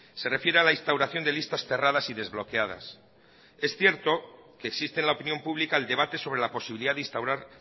se refiere a la instauración de listas cerradas y desbloqueadas es cierto que existe en la opinión pública el debate sobre la posibilidad de instaurar